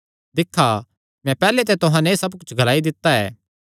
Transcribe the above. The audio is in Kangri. दिक्खा मैं पैहल्ले ते तुहां नैं एह़ सब कुच्छ ग्लाई दित्ता ऐ